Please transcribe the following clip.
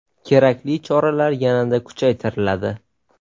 Kerakli choralar yanada kuchaytiriladi.